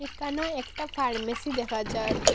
এখানো একটা ফার্মেসি দেখা যার।